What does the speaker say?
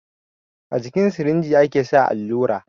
A jikin sirinji ake saka allura